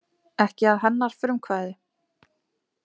Ekki að hennar frumkvæði.